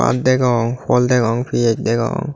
baat degong fol degong pigej degong.